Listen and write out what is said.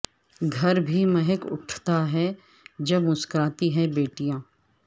گھر بھی مہک اٹھتا ہے جب مسکراتی ہیں بیٹیاں